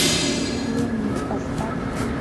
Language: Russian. ленни поставь